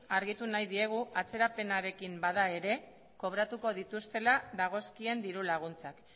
argitu nahi diegu atzerapenarekin bada ere kobratuko dituztela dagozkien diru laguntzak